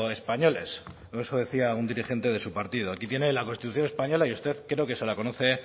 españoles o eso decía un dirigente de su partido aquí tiene la constitución española y usted creo que se la conoce